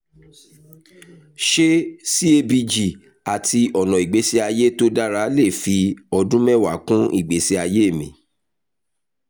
ṣé cabg àti ọ̀nà ìgbésí ayé tó dára lè fi ọdún mẹ́wàá kún ìgbésí ayé mi?